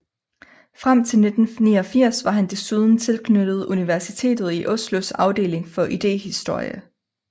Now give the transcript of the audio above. Frem til 1989 var han desuden tilknyttet Universitetet i Oslos afdeling for idéhistorie